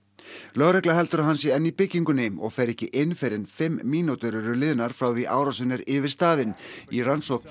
lögregla heldur að hann sé enn í byggingunni og fer ekki inn fyrr en fimm mínútur eru liðnar frá því að árásin er yfirstaðin í rannsókn